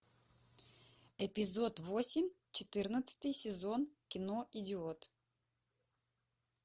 эпизод восемь четырнадцатый сезон кино идиот